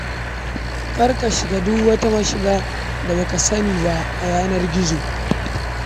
Kar ka shiga duk wata mashiga, wato link, da ba ka sani ba a yanar gizo.